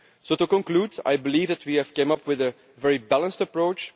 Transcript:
To conclude, I believe that we have come up with a very balanced approach.